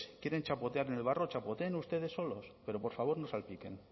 quieren chapotear en el barro chapoteen ustedes solos pero por favor no salpiquen